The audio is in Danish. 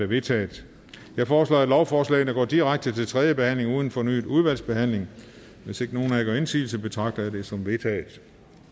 vedtaget jeg foreslår at lovforslagene går direkte til tredje behandling uden fornyet udvalgsbehandling hvis ikke nogen af jer gør indsigelse betragter jeg det som vedtaget